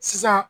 Sisan